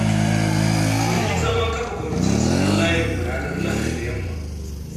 Mun yi zaman kafa kwamitin tsaron layinmu ranar lahadi da yamma.